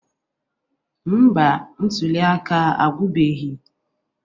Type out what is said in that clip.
Mba, ntuli aka agwụbeghị